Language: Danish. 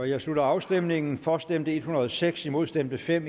jeg slutter afstemningen for stemte en hundrede og seks imod stemte fem